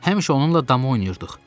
Həmişə onunla dama oynayırdıq.